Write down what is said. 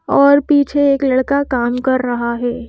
और पीछे एक लड़का काम कर रहा है।